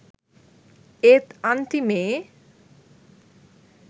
ඒත් අන්තිමේ